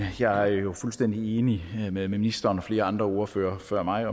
jeg er jo fuldstændig enig med ministeren og flere andre ordførere før mig